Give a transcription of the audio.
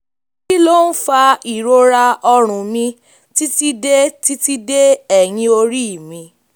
kí ló ń fa ìrora ọrùn mi titi de titi de eyin ori mi?